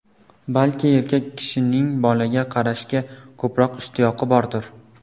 Balki erkak kishining bolaga qarashga ko‘proq ishtiyoqi bordir.